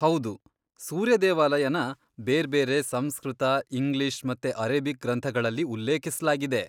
ಹೌದು, ಸೂರ್ಯ ದೇವಾಲಯನ ಬೇರ್ಬೇರೆ ಸಂಸ್ಕೃತ, ಇಂಗ್ಲಿಷ್ ಮತ್ತೆ ಅರೇಬಿಕ್ ಗ್ರಂಥಗಳಲ್ಲಿ ಉಲ್ಲೇಖಿಸ್ಲಾಗಿದೆ.